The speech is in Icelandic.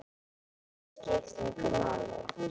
Ég sé þig ekki.